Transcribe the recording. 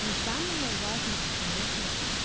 но самое важное это конечно